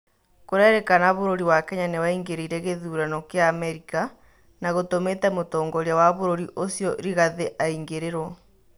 kurerĩkana bũrũri wa Kenya nĩwaingĩrĩire gĩthurano kĩa Amerika na gũtũmite mũtongoria wa bũrũri ucĩo rigathĩ aingĩrĩrwo